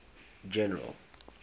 general